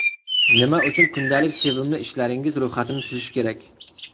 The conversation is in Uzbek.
Nima uchun kundalik sevimli ishlaringiz ro‘yxatini tuzish kerak?.